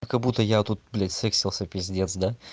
как будто я тут блять сексился пиздец да